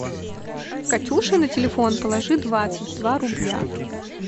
катюше на телефон положи двадцать два рубля